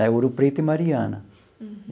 Ouro Preto e Mariana.